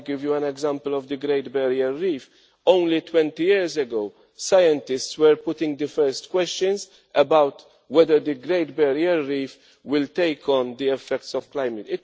If I give you an example of the Great Barrier Reef, only 20 years ago scientists were putting the first questions about whether the Great Barrier Reef would take on the effects of climate.